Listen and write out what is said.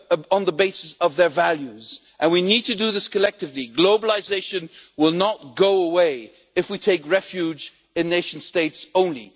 on the basis of their values, and we need to do this collectively. Globalisation will not go away if we take refuge in nation states only.